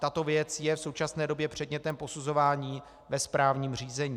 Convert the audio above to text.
Tato věc je v současné době předmětem posuzování ve správním řízení.